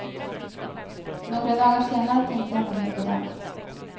Några dagar senare tänkte jag inte mer på dem.